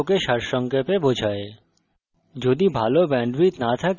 এটি কথ্য tutorial প্রকল্পকে সারসংক্ষেপে বোঝায়